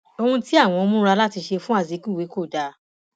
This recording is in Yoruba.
ohun tí àwọn múra láti ṣe fún azikiwe kò dáa